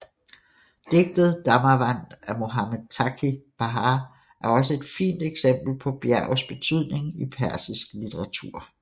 Digtet Damāvand af Mohammad Taghi Bahar er også et fint eksempel på bjergets betydning i persisk litteratur